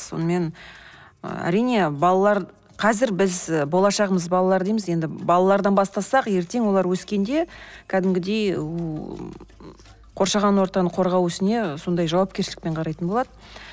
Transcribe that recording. сонымен ы әрине балалар қазір біз болашағымыз балалар дейміз біз балалардан бастасақ ертең олар өскенде кәдімгідей қоршаған ортаны қорғау ісіне сондай жауапкершілікпен қарайтын болады